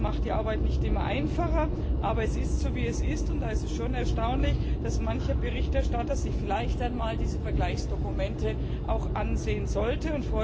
Das macht die Arbeit nicht immer einfacher, aber es ist so, wie es ist, und es ist schon erstaunlich, dass mancher Berichterstatter sich vielleicht diese Vergleichsdokumente auch einmal ansehen sollte.